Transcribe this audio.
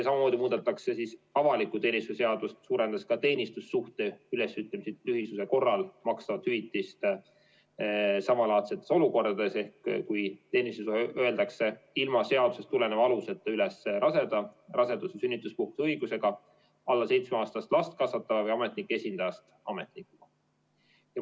Samamoodi muudetakse avaliku teenistuse seadust, suurendades teenistussuhte ülesütlemise tühisuse korral makstavat hüvitist samalaadsetes olukordades, ehk kui teenistussuhe öeldakse ilma seadusest tuleneva aluseta üles raseda, rasedus- või sünnituspuhkuse õigusega, alla seitsmeaastast last kasvatava või ametnike esindajast ametnikuga.